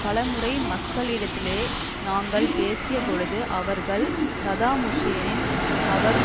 பலமுறை மக்களிடத்திலே நாங்கள் பேசியபொழுது அவர்கள் சதாம் ஹூசேன் அவர்